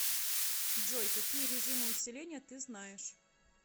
джой какие режимы усиления ты знаешь